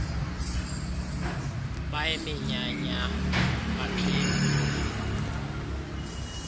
bayiminyanya bap hila